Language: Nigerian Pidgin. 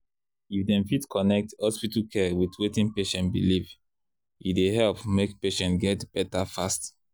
if dem fit connect hospital care with wetin patient believe e dey help make patient get better fast.